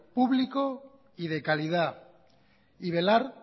público y de calidad y velar